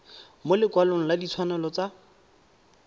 mo lekwalong la ditshwanelo tsa